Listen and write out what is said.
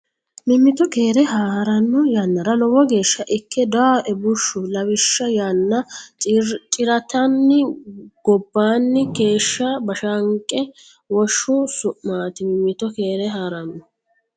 Mimmito keere haa ranno yannara lowo geeshsha ikke dawooe bushshu Lawishsha yaanna ciratanni gobbaanni keeshsha Bashanqe woshsho su maati Mimmito keere haa ranno.